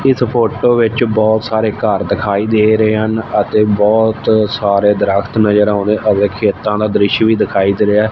ਇਸ ਫ਼ੋਟੋ ਵਿੱਚ ਬੋਹੁਤ ਸਾਰੇ ਘੱਰ ਦਿਖਾਈ ਦੇ ਰਹੇ ਹਨ ਅਤੇ ਬੋਹੁਤ ਸਾਰੇ ਦ੍ਰਖਤ ਵੀ ਨਜ਼ਰ ਆਉਂਦੇ ਅਤੇ ਖੇਤਾਂ ਦਾ ਦ੍ਰਿਸ਼ਯ ਵੀ ਦਿਖਾਈ ਦੇ ਰਿਹਾ।